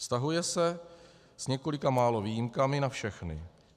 Vztahuje se s několika málo výjimkami na všechny.